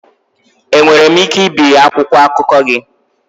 Enwere m ike ibiri akwụkwọ akụkọ gị?